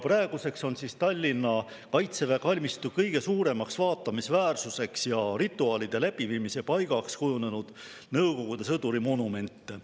Praeguseks on Tallinna kaitseväe kalmistu kõige suuremaks vaatamisväärsuseks ja rituaalide läbiviimise paigaks kujunenud Nõukogude sõduri monument.